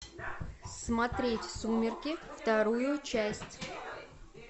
смотреть сумерки вторую часть